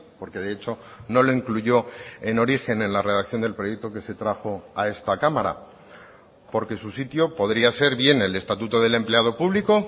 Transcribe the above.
porque de hecho no lo incluyó en origen en la redacción del proyecto que se trajo a esta cámara porque su sitio podría ser bien el estatuto del empleado público